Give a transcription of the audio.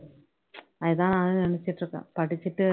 எர் அது தான் நானும் நினைச்சுட்டு இருக்கேன் படிச்சுட்டு